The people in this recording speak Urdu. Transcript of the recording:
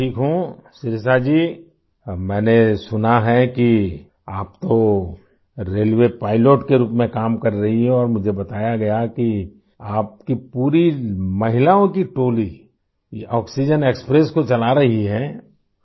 میں بہت ٹھیک ہوں شریشا جی ، میں نے سنا ہے کہ آپ ریلوے پائلٹ کے طور پر کام کر رہی ہیں اور مجھے بتایا گیا ہے کہ آپ کی پوری خواتین ٹیم یہ آکسیجن ایکسپریس چلا رہی ہے